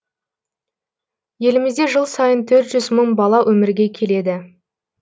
елімізде жыл сайын төрт жүз мың бала өмірге келеді